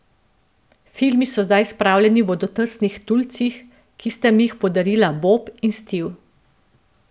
Filmi so zdaj spravljeni v vodotesnih tulcih, ki sta mi jih podarila Bob in Steve.